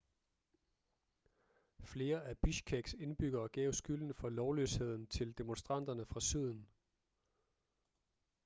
flere af bishkeks indbyggere gav skylden for lovløsheden til demonstranterne fra syden